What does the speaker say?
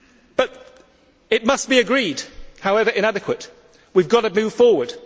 But it must be agreed however inadequate, we have got to move forward.